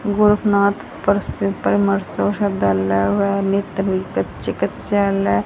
गोरकनाथ नेत्र चिकित्सालए --